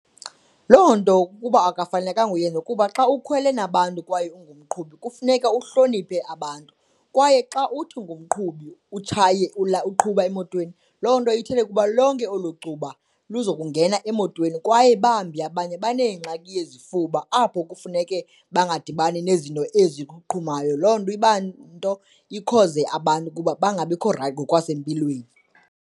Loo nto ukuba akafanelekanga uyenza, kuba xa ukhwele nabantu kwaye ungumqhubi kufuneka uhloniphe abantu kwaye xa uthi ungumqhubi utshaye uqhuba emotweni, loo nto ithetha ukuba lonke elo cuba luza kungena emotweni kwaye bambi abanye baneengxaki yezifuba apho kufuneke bangadibani nezinto eziqhumayo. Loo nto iba nto ikhoze abantu ukuba bangabikho raythi ngokwasempilweni.